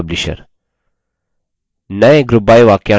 नये group by वाक्यांश पर ध्यान दीजिये